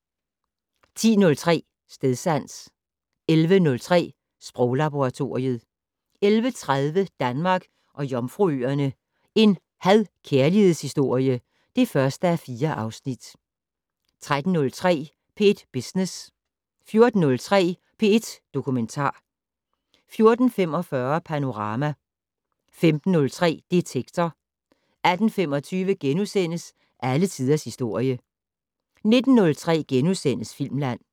* 10:03: Stedsans 11:03: Sproglaboratoriet 11:30: Danmark og Jomfruøerne - en had/kærlighedshistorie (1:4) 13:03: P1 Business 14:03: P1 Dokumentar 14:45: Panorama 15:03: Detektor 18:25: Alle tiders historie * 19:03: Filmland *